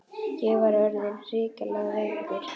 Ég var þá orðinn hrikalega veikur.